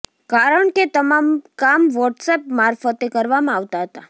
કારણ કે તમામ કામ વોટ્સઅપ મારફતે કરવામાં આવતા હતા